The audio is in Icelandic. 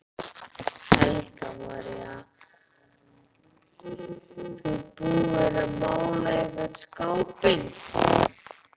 Helga María: Þú búinn að mála einhvern skápinn?